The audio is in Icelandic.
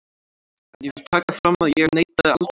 En ég vil taka fram að ég neitaði aldrei að spila.